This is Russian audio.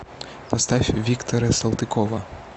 поставь виктора салтыкова